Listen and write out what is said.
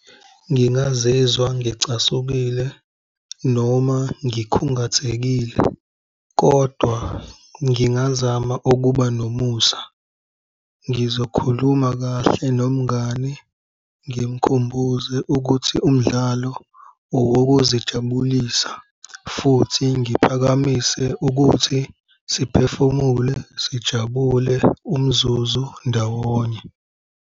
Ngingazizwa ngicasukile noma ngikhungathekile, kodwa ngingazama ukuba nomusa, ngizokhuluma kahle nomngani ngimkhumbuze ukuthi umdlalo owokuzijabulisa futhi ngiphakamise ukuthi siphefumule, sijabule umzuzu ndawonye.